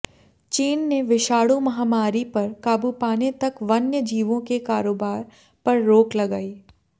चीन ने विषाणु महामारी पर काबू पाने तक वन्य जीवों के कारोबार पर रोक लगाई